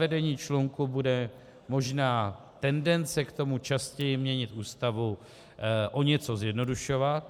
Zavedení člunku bude možná tendence k tomu častěji měnit Ústavu, o něco zjednodušovat.